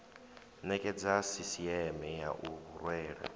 nekedza sisieme ya u rwela